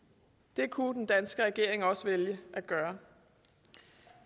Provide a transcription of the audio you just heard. det kunne den danske regering også vælge at gøre